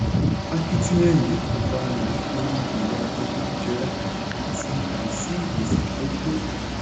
akitiyan yìí kò farahan nítorí ìwà jẹgúdú-jẹrá àti àìsí ìpèsè tó tó.